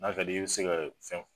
Nba fɛ de i bɛ se ka fɛn.